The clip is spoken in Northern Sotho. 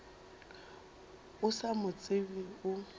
o sa mo tsebe o